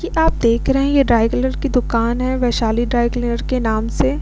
की आप देख रहे है ये ड्राई कलर की दूकान है वैशाली ड्राई क्लीनर के नाम से।